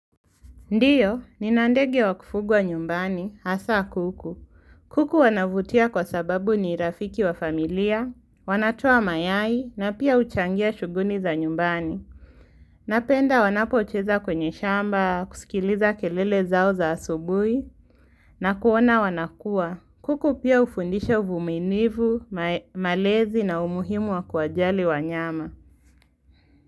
Ndiyo, nina ndege wa kufugwa nyumbani, hasa kuku. Kuku wanavutia kwa sababu ni rafiki wa familia, wanatoa mayai, na pia huchangia shughuni za nyumbani. Napenda wanapocheza kwenye shamba, kusikiliza kelele zao za asubuhi, na kuona wanakua. Kuku pia ufundisha uvuminivu, ma malezi na umuhimu wa kuwajali wanyama.